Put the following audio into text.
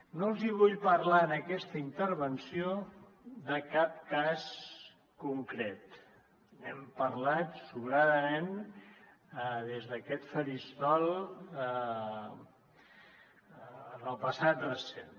no els vull parlar en aquesta intervenció de cap cas concret n’hem parlat sobrerament des d’aquest faristol en el passat recent